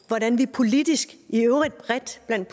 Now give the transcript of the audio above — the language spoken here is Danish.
hvordan vi politisk i øvrigt bredt blandt